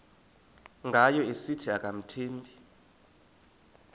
ngayo esithi akamthembi